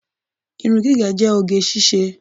Irun gígẹ̀ jẹ́ oge ṣíṣe.